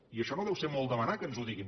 i això no deu ser molt demanar que ens ho diguin